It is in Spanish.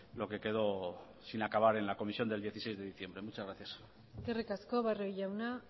lo que quedó sin acabar en la comisión del dieciséis de diciembre muchas gracias eskerrik asko barrio jauna